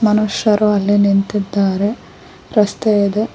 ಮನುಷ್ಯರು ಅಲ್ಲಿ ನಿಂತಿದ್ದಾರೆ ರಸ್ತೆ ಇದೆ.